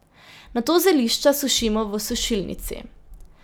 Nato zelišča sušimo v sušilnici.